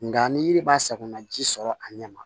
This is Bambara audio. Nka ni yiri b'a sakonaji sɔrɔ a ɲɛ ma